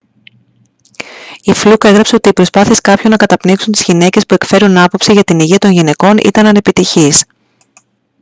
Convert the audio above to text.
η φλουκ έγραψε ότι οι προσπάθειες κάποιων να καταπνίξουν τις γυναίκες που εκφέρουν άποψη για την υγεία των γυναικών ήταν ανεπιτυχείς